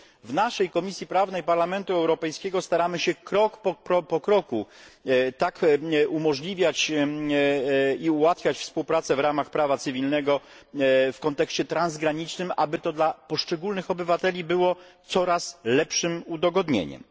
W Komisji Prawnej Parlamentu Europejskiego staramy się krok po kroku tak umożliwiać i ułatwiać współpracę w ramach prawa cywilnego w kontekście transgranicznym, aby było to dla poszczególnych obywateli coraz lepszym udogodnieniem.